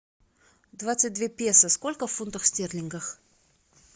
двадцать две песо сколько в фунтах стерлингов